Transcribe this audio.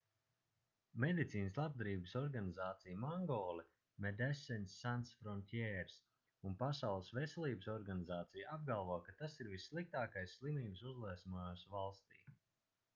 medicīnas labdarības organizācija mangola medecines sans frontieres un pasaules veselības organizācija apgalvo ka tas ir vissliktākais slimības uzliesmojums valstī